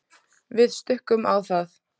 Við stukkum á það.